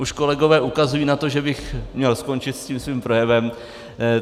Už kolegové ukazují na to, že bych měl skončit s tím svým projevem.